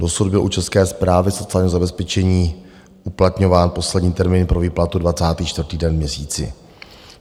Dosud byl u České správy sociálního zabezpečení uplatňován poslední termín pro výplatu 24. den v měsíci.